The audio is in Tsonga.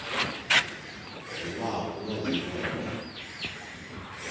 hi laha ku nga heriki